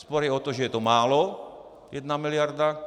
Spor je o to, že je to málo, jedna miliarda.